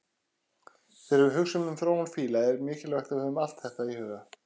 Þegar við hugsum um þróun fíla er mikilvægt að við höfum allt þetta í huga.